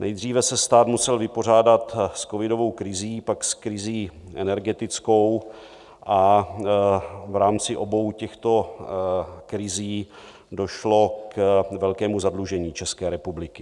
Nejdříve se stát musel vypořádat s covidovou krizí, pak s krizí energetickou a v rámci obou těchto krizí došlo k velkému zadlužení České republiky.